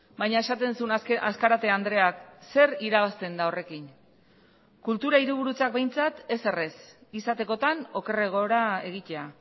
baina esaten zuen azkarate andreak zer irabazten da horrekin kultura hiriburutzak behintzat ezer ez izatekotan okerragora egitea